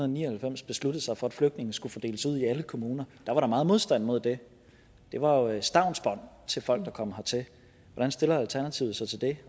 ni og halvfems besluttede sig for at flygtninge skulle fordeles ud i alle kommuner var der meget modstand mod det det var jo et stavnsbånd til folk der kom hertil hvordan stiller alternativet sig til det